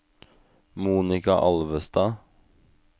Monika Alvestad